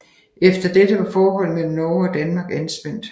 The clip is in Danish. Efter dette var forholdet mellem Norge og Danmark anspændt